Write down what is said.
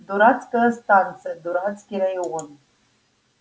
дурацкая станция дурацкий район